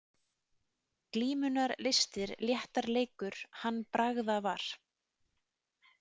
Glímunnar listir léttar leikur hann bragðavar.